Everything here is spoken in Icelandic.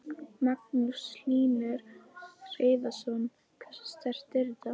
Magnús Hlynur Hreiðarsson: Hversu sterkt er þetta?